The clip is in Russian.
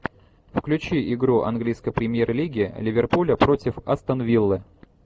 включи игру английской премьер лиги ливерпуля против астон виллы